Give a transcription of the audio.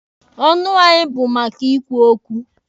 Ọnụ anyị bụ maka ikwu okwu.